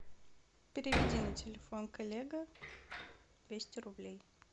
переведи на телефон коллега двести рублей